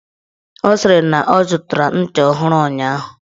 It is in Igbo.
Ọ sịrị na ọ zụtara ncha ọhụrụ ụnyaahụ.